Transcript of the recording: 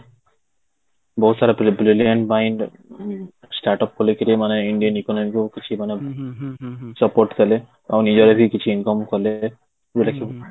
ବହୁତ ସାରା brilliant mind start up ଖୋଲିକି ରି ମାନେ ଇଣ୍ଡିଆନ economy କୁ କିଛି ମାନେ support ଦେଲେ ବି କିଛି income କଲେ ଯୋଉଟା କି